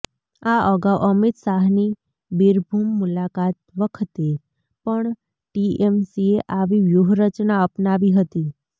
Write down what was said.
આ અગાઉ અમિત શાહની બીરભૂમ મુલાકાત વખતે પણ ટીએમસીએ આવી વ્યૂહરચના અપનાવી હતી